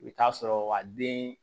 I bɛ taa sɔrɔ a den